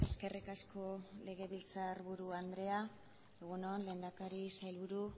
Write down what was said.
eskerrik asko legebiltzarburu andrea egun on lehendakari sailburu